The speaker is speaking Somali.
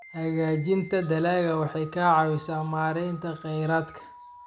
Hagaajinta dalagga waxay ka caawisaa maaraynta kheyraadka.